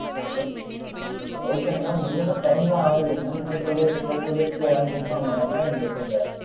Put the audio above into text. okay madam என்னது time தான் ஆகலையே madam இன்னும் two days இருக்குல, two days குள்ள யாரும் book பண்ண மாட்டாங்களா என்ன அந்த seat அ.